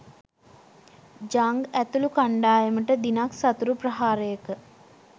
Jung ඇතුළු කණ්ඩායමට දිනක් සතුරු ප්‍රහාරයක